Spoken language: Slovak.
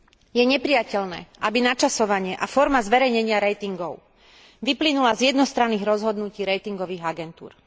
Je neprijateľné, aby načasovanie a forma zverejnenia ratingov vyplynula z jednostranných rozhodnutí ratingových agentúr.